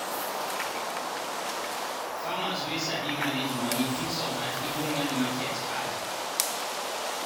farmers wey sabi manage money fit survive even when market hard.